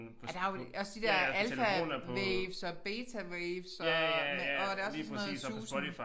Ja der har vi det også de der alfa waves og beta waves og med og der også er sådan noget susen